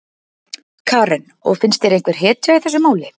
Karen: Og finnst þér einhver hetja í þessu máli?